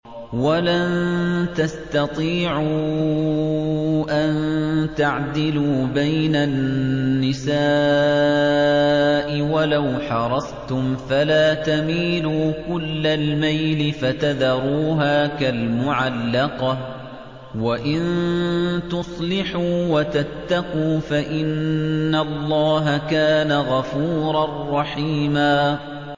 وَلَن تَسْتَطِيعُوا أَن تَعْدِلُوا بَيْنَ النِّسَاءِ وَلَوْ حَرَصْتُمْ ۖ فَلَا تَمِيلُوا كُلَّ الْمَيْلِ فَتَذَرُوهَا كَالْمُعَلَّقَةِ ۚ وَإِن تُصْلِحُوا وَتَتَّقُوا فَإِنَّ اللَّهَ كَانَ غَفُورًا رَّحِيمًا